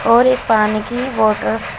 और एक पानी की बॉटल --